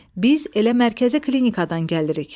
Biz elə mərkəzi klinikadan gəlirik.